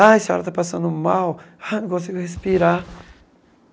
Ah, a senhora está passando mal, ah não consigo respirar.